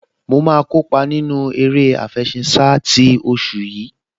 Mo máa kópa nínú eré àfẹṣinsá ti oṣù yìí